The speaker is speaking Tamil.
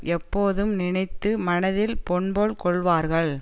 எப்போதும் நினைத்து மனத்தில் பொன்போல் கொள்ளுவார்கள்